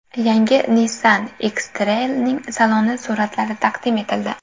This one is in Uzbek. Yangi Nissan X-Trail’ning saloni suratlari taqdim etildi .